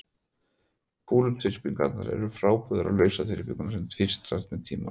Kúluþyrpingarnar eru því frábrugðnar lausþyrpingum sem tvístrast með tímanum.